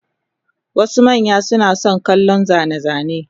Wasu manya suna son kallon zane-zane,